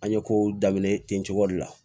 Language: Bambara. An ye kow daminɛ ten cogoya de la